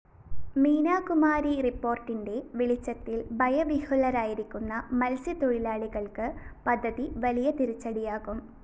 മീനാകുമാരി റിപ്പോര്‍ട്ടിന്റെ വെളിച്ചത്തില്‍ ഭയവിഹ്വലരായിരിക്കുന്ന മത്സ്യത്തൊഴിലാളികള്‍ക്ക് പദ്ധതി വലിയ തിരിച്ചടിയാകും